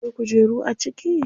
Akwai kujeru a ciki?